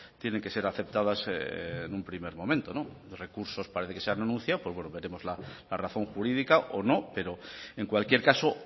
tienen que ser aceptadas en un primer momento recursos parece que se han anunciado veremos la razón jurídica o no pero en cualquier caso